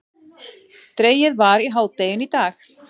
Dregið var í hádeginu í dag